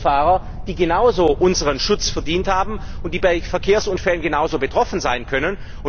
Es gibt Beifahrer, die genauso unseren Schutz verdient haben, und die bei Verkehrsunfällen genauso betroffen sein können.